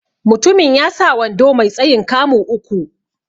Mutumin ya sa wando mai tsayin 'kamu' uku.